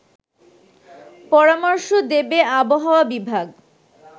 পরামর্শ দেবে আবহাওয়া বিভাগ